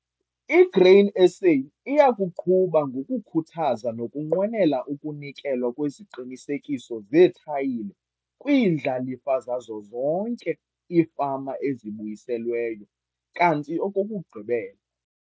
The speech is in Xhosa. I-Grain SA iya kuqhuba ngokukhuthaza nokunqwenela ukunikelwa kweziqinisekiso zeethayitile kwiindlalifa zazo zonke iifama ezibuyiselweyo, kanti okokugqibela